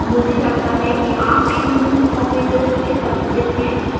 मुझे लगता है कि आप इन मूल operators से परिचित हैं